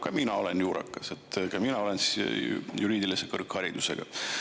Ka mina olen juurakas, ka mina olen juriidilise kõrgharidusega.